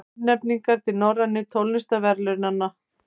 Tilnefningar til Norrænu tónlistarverðlaunanna